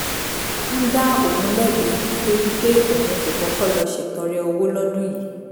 ń dá òun lẹ́bi nítorí pé òun kò kọ́kọ́ lọ ṣètọrẹ owó lọ́dún yìí